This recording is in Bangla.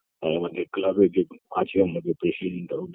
আমাদের club -এ যেগুলো আছে আমাদের president -টাও